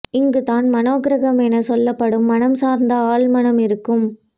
இங்கு தான் மனோ கிரகம் என சொல்லப்படும் மனம் சார்ந்த ஆள் மனம் இருக்கும்